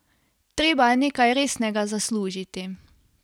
Treba je nekaj resnega zaslužiti!